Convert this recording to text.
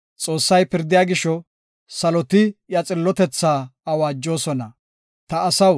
Xoossay pirdiya gisho, saloti iya xillotethaa awaajosona. Salaha